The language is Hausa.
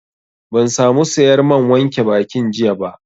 Ban sa mu sayar man wanke bakin jiya ba